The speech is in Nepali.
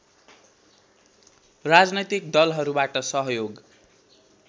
राजनैतिक दलहरूबाट सहयोग